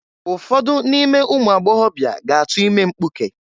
Ụfọdụ n'ime ụmụagbọgọbịa ga-atu ime mpkuke.